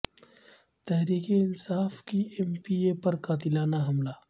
تحریک انصا ف کے M P A پرقاتلانہ حملہ